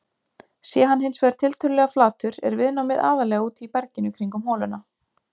Sé hann hins vegar tiltölulega flatur er viðnámið aðallega úti í berginu kringum holuna.